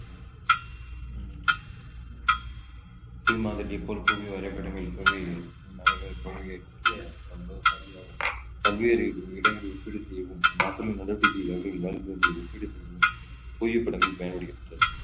புவி மாதிரி போல் புவி வரைபடங்கள் பல்வேறு இடங்களில் ஒப்பீடு செய்யவும் மக்களின் நடவடிக்கை அவர்களின் வாழ்விடங்கள் ஒப்பீடு செய்யவும் புவிப்படங்கள் பயன்படுகின்றன